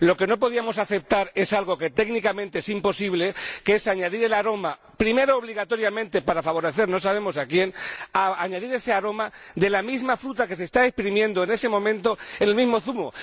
Lo que no podíamos aceptar es algo que técnicamente es imposible, que es añadir primero, obligatoriamente —para favorecer no sabemos a quién—, el aroma de la misma fruta que se está exprimiendo en ese momento, en el mismo zumo.